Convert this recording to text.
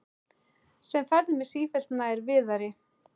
Sem færði mig sífellt nær Viðari.